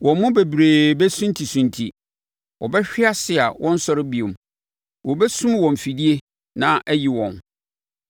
Wɔn mu bebree bɛsuntisunti; wɔbɛhwe ase a wɔnnsɔre bio; wɔbɛsum wɔn afidie na ayi wɔn.”